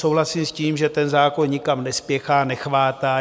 Souhlasím s tím, že ten zákon nikam nespěchá, nechvátá.